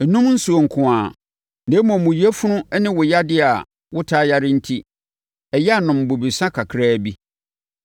Nnom nsuo nko ara, na mmom, wo yafunu ne wo yadeɛ a wotaa yare enti, ɛyɛ a nom bobesa kakraa bi.